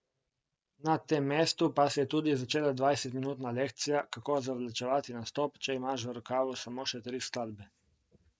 Na tem mestu pa se je tudi začela dvajsetminutna lekcija, kako zavlačevati nastop, če imaš v rokavu samo še tri skladbe.